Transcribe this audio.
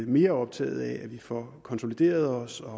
mere optaget af at vi får konsolideret os og